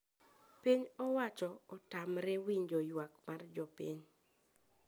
Piny owacho otamre winjo ywak mar jopiny